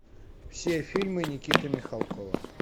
все фильмы никиты михалкова